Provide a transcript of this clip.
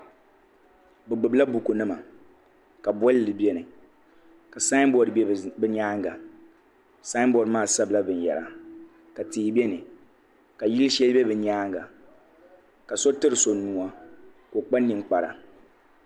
Bi gbubi la buku nima ka bɔlli bɛni ka saayi bɔd bɛ bi nyaanga saayi bɔd maa sabi la bin yara ka tihi bɛni ka yili shɛli bɛ bi nyaanga ka so tiri so nuwa ka o kpa ninkpara.